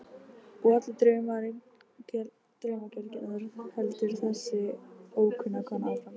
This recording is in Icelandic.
Og allir draumar gelgjunnar, heldur þessi ókunna kona áfram.